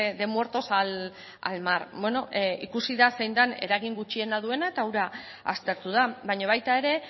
de muertos al mar ikusi da zein den eragin gutxiena duena eta hura aztertu da baina baita ere